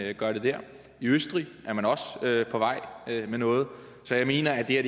de gør det i østrig er man også på vej med noget så jeg mener at det her